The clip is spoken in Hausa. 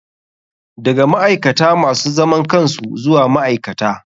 Daga ma'aikata masu zaman kansu zuwa ma'aikata.